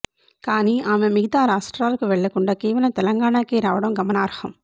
కానీ ఆమె మిగతా రాష్ట్రాలకు వెళ్ళకుండా కేవలం తెలంగాణకే రావడం గమనార్హం